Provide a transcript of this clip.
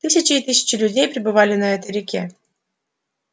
тысячи и тысячи людей перебывали на этой реке